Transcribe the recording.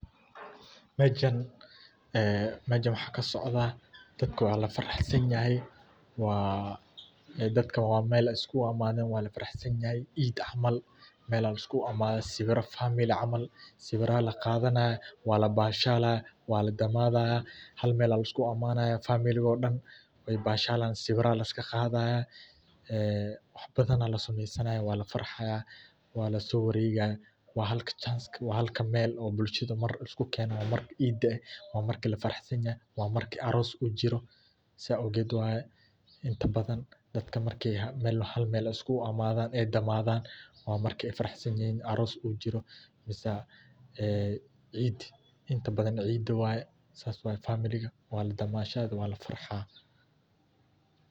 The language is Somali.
Ee mejan waxaa ka socdaa dadka waa la faraxsanyahay waa dadka meel laiskugu imadhe wana lafarax sanyahay, meelaha laskugu imadho sawira famili camal sawira aa laqadhanaya waa labashalaya waa lagamadhaya hal meel aya laskugu imanaya familiga oo dan, waa labashalaya sawira aya laska qadhaya, ee wax badhan aya lasameynaya wana lafarax sananaya waa laso waregaya waa halka meel ee dadka isku kenaya malinka ciida waa marki lafarax sanyahaysaogeed waye inta badan dadka marki hal meel iskugu imadhan waa marki ee faraxsanyihin ee inta badan ciid waye familiga waa la damashadhaya wana la farxaya.